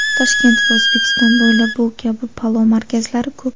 Toshkent va O‘zbekiston bo‘ylab bu kabi palov markazlari ko‘p.